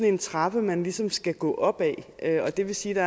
en trappe man ligesom skal gå op ad det vil sige at